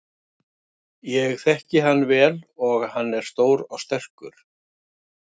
Ég þekki hann vel og hann er stór og sterkur.